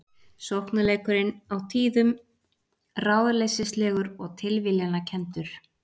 Sóknarleikurinn á tíðum ráðleysislegur og tilviljanakenndur